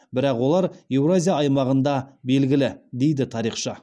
бірақ олар еуразия аймағында белгілі дейді тарихшы